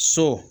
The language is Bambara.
So